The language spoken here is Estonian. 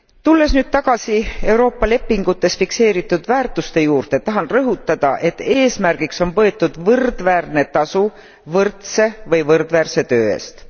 Tulles nüüd tagasi Euroopa lepingutes fikseeritud väärtuste juurde, tahan rõhutada, et eesmärgiks on võetud võrdväärne tasu võrdse või võrdväärse töö eest.